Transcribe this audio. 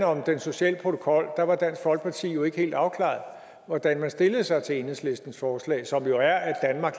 om den sociale protokol var dansk folkeparti jo ikke helt afklaret om hvordan man stillede sig til enhedslistens forslag som jo er at